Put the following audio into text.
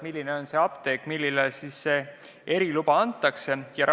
Millisele apteegile see eriluba antakse?